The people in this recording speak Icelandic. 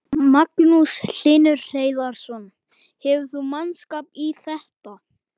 Magnús Hlynur Hreiðarsson: Hefur þú mannskap í þetta?